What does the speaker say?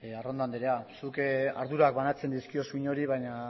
arrondo anderea zuk ardurak banatzen dizkiozu inori baina